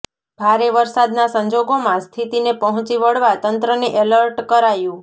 ભારે વરસાદના સંજોગોમાં સ્થિતિને પહોંચી વળવા તંત્રને એલર્ટ કરાયું